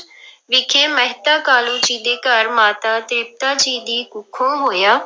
ਵਿਖੇ ਮਹਿਤਾ ਕਾਲੂ ਜੀ ਦੇ ਘਰ ਮਾਤਾ ਤ੍ਰਿਪਤਾ ਜੀ ਦੀ ਕੁੱਖੋਂ ਹੋਇਆ।